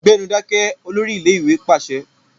Gbẹ́nu dákẹ́! Olórí ilé-ìwé pàṣẹ.